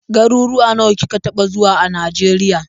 Garuwuwa nawa kika taɓa zuwa a Najeriya.